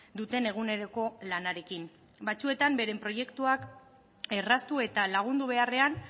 duten eguneroko lanarekin batzuetan beren proiektuak erraztu eta lagundu beharrean